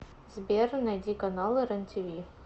сбер найди каналы рен тиви